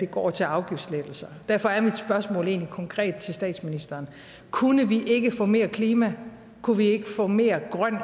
går til afgiftslettelser derfor er mit spørgsmål egentlig konkret til statsministeren kunne vi ikke få mere klima kunne vi ikke få mere grøn